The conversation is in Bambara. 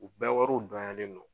U bɛɛ wariw dɔnyalen do.